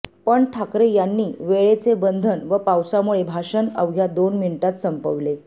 पण ठाकरे यांनी वेळेचे बंधन व पावसामुळे भाषण अवघ्या दोन मिनीटात संपवले